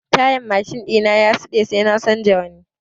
Tayar mashin ɗina ya siɗe sai na canza wata.